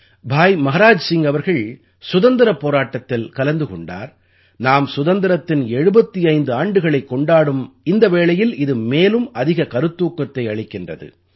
பாய் மஹராஜ் சிங் அவர்கள் சுதந்திரப் போராட்டத்தில் கலந்து கொண்டார் நாம் சுதந்திரத்தின் 75 ஆண்டுகளைக் கொண்டாடும் இந்த வேளையில் இது மேலும் அதிக கருத்தூக்கத்தை அளிக்கின்றது